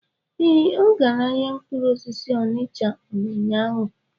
Ee, ọ gara ahịa mkpụrụ osisi Onicha n'ụnyaahụ.